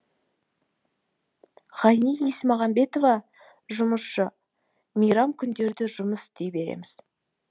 ғайни есмағамбетова жұмысшы мейрам күндері жұмыс істей береміз